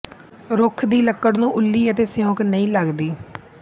ਰੁੱਖ ਦੀ ਲੱਕੜ ਨੂੰ ਉੱਲੀ ਅਤੇ ਸਿਉਂਕ ਨਹੀਂ ਲਗਦੀ